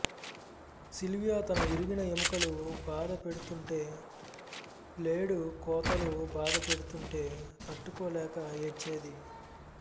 Sylvia తన విరిగిన ఎముకలు బాధ పెడుతుంటే బ్లేడు కోతలు బాధ పెడుతుంటే తట్టుకోలేక ఏడ్చేది